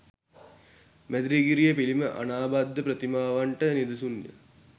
මැදිරිගිරිය පිළිම අනාබද්ධ ප්‍රතිමාවන්ට නිදසුන්ය.